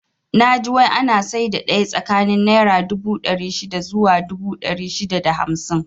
Naji wai ana saida daya tsakanin naira dubu ɗari shida zuwa dubu ɗari shida da hamsin